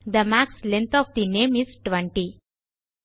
they max length of the name is 20